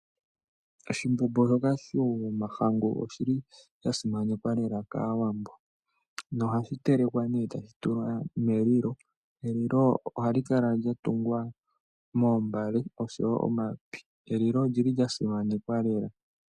Oshimbombo shoka shOmahangu oshili sha simanekwa lela kAaawambo nohashi telekwa ne etashi tulwa melilo. Elilo ohali kala lya tungwa moombale oshowo omapi, elilo olyili lya simanekwa lela.